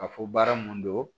Ka fɔ baara mun don